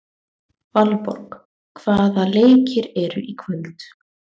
Valborg, hvaða leikir eru í kvöld?